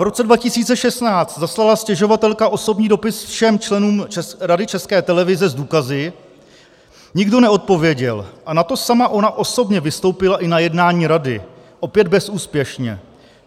V roce 2016 zaslala stěžovatelka osobní dopis všem členům Rady České televize s důkazy, nikdo neodpověděl, a na to sama ona osobně vystoupila i na jednání rady, opět bezúspěšně.